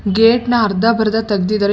gate ನ ಅರ್ಧ ಬರ್ದ ತೆಗ್ದಿದಾರೆ ಎಷ್--